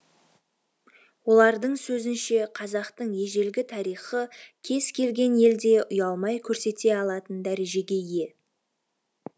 олардың сөзінше қазақтың ежелгі тарихы кез келген елде ұялмай көрсете алатын дәрежеге ие